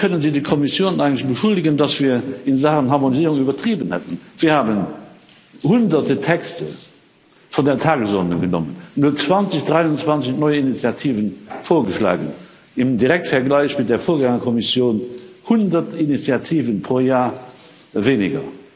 Wieso können Sie die Kommission eigentlich beschuldigen, dass wir in Sachen Harmonisierung übertrieben hätten? Wir haben Hunderte Texte von der Tagesordnung genommen, nur 23 neue Initiativen vorgeschlagen im Direktvergleich mit der Vorgängerkommission 100 Initiativen pro Jahr weniger.